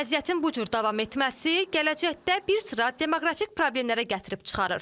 Vəziyyətin bu cür davam etməsi gələcəkdə bir sıra demoqrafik problemlərə gətirib çıxarır.